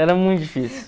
Era muito difícil.